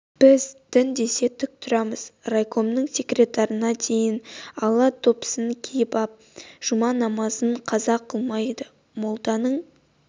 біз дін десе тік тұрамыз райкомның секретарына дейін ала допысын киіп жұма намазын қаза қылмайды молланың